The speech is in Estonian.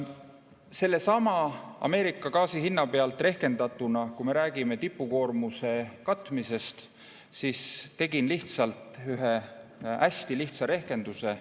Sellesama Ameerika gaasi hinna pealt rehkendatuna, kui me räägime tipukoormuse katmisest, ma tegin ühe hästi lihtsa rehkenduse.